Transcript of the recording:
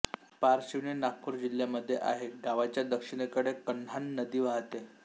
पारशिवनी नागपूर जिल्ह्यामध्ये आहे गावांच्या दक्षिणेकडे कन्हान नदी वाहते